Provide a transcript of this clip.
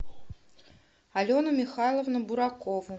алену михайловну буракову